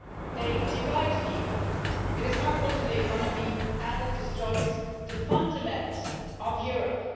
They divide people, it is harmful to the economy and it destroys the fundaments of Europe.